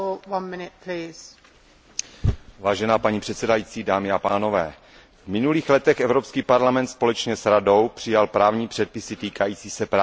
Paní předsedající, v minulých letech Evropský parlament společně s Radou přijal právní předpisy týkající se práv cestujících v letecké a železniční dopravě.